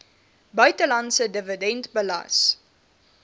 buitelandse dividend belas